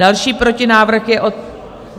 Další protinávrh je od...